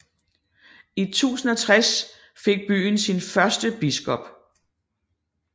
I 1060 fik byen sin første biskop